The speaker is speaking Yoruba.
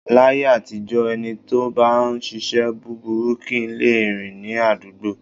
Láyé àtijọ́ ẹni tó bá ń ṣíṣe búburú kì í lè rìn ní àdúgbò.